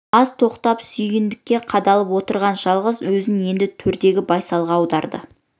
аз тоқтап сүйіндікке қадалып отырған жалғыз көзін енді төрдегі байсалға аударды